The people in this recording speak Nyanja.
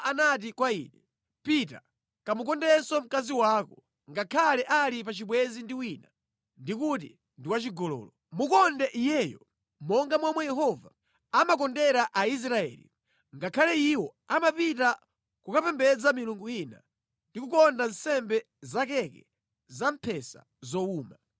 Yehova anati kwa ine, “Pita kamukondenso mkazi wako, ngakhale ali pa chibwenzi ndi wina ndi kuti ndi wachigololo. Mukonde iyeyo monga momwe Yehova amakondera Aisraeli, ngakhale iwo amapita kukapembedza milungu ina ndi kukonda nsembe za keke zamphesa zowuma.”